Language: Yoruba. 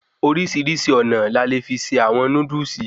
Orísirísi ònà ni a le fi ṣe àwọn Núdúsì